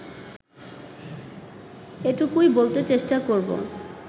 এটুকুই বলতে চেষ্টা করব